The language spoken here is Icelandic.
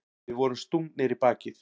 Við vorum stungnir í bakið.